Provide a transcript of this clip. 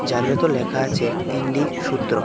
যার ভেতর লেখা আছে ইন্ডি সূত্র.